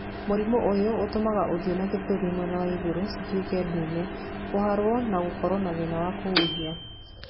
Mũrimũ ũyũ ũtũmaga ũthiũ na gĩthũri mwena wa igũrũ cituĩke ndune, ũharwo na gũkorwo na thĩna wa kũhuhia.